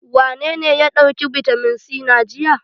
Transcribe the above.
Wanene ya ɗauki bitamin c na jiya?